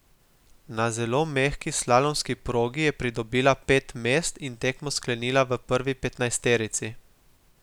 Na zelo mehki slalomski progi je pridobila pet mest in tekmo sklenila v prvi petnajsterici.